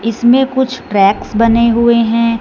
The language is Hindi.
इसमें कुछ ट्रैक्स बने हुए हैं।